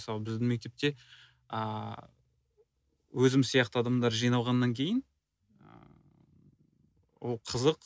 мысалы біздің мектепте ааа өзім сияқты адамдар жиналғаннан кейін ыыы ол қызық